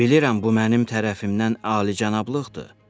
Bilirəm bu mənim tərəfimdən alicənablıqdır.